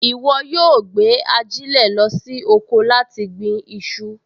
Ìwọ yóò gbé ajílẹ̀ lọ sí oko láti gbin iṣu